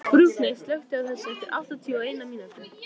Burkney, slökktu á þessu eftir áttatíu og eina mínútur.